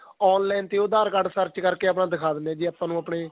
online ਤੇ ਉਹ aadhar card search ਕਰਕੇ ਆਪਾਂ ਦਿੱਖਾ ਦੇਣੇ ਹਾਂ ਜ਼ੇ ਆਪਾਂ ਨੂੰ ਆਪਣੇ